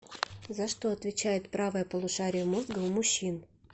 за что отвечает правое полушарие мозга у мужчин